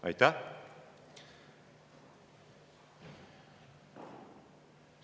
Aitäh!